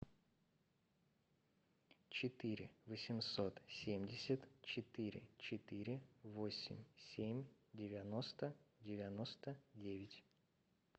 четыре восемьсот семьдесят четыре четыре восемь семь девяносто девяносто девять